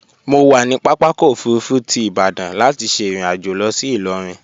Mo wà ní pápákọ̀ òfurufú ti Ìbadan láti ṣe ìrìnàjò lọ sí Ìlọrin